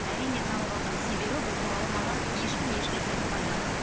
әрине таңғалдым себебі бұл туралы маған ешкім ешнәрсе айтпады